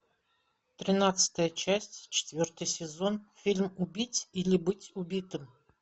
тринадцатая часть четвертый сезон фильм убить или быть убитым